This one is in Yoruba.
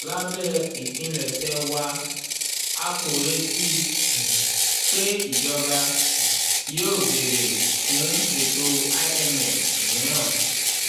lábẹ́ ìpilẹ̀ṣẹ̀ wa a kò retí um pé ìjọba um yóò béèrè fún ètò imf mìíràn. um